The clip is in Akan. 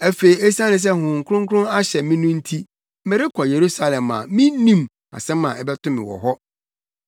“Afei esiane sɛ Honhom Kronkron ahyɛ me no nti, merekɔ Yerusalem a minnim asɛm a ɛbɛto me wɔ hɔ.